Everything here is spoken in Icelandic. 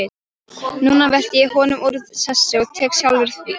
Núna velti ég honum úr sessi og tek sjálfur við.